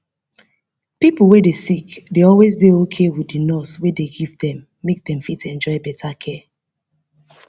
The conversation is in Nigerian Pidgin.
pipo wey sick dey always dey okay with the nurse wey dey give them make them fit enjoy better care